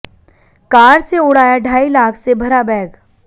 car से उड़ाया ढाई लाख से भरा बैग